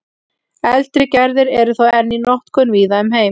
eldri gerðir eru þó enn í notkun víða um heim